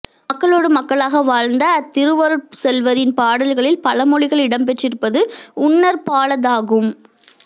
மக்களோடு மக்களாக வாழ்ந்த அத்திருவருட் செல்வரின் பாடல்களில் பழமொழிகள் இடம்பெற்றிருப்பது உன்னற்பாலதாகும்